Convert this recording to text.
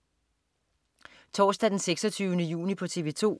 Torsdag den 26. juni - TV 2: